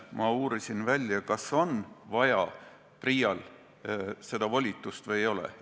Ma uurisin välja, kas PRIA-l on seda volitust vaja või ei ole.